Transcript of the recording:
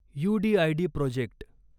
UDID project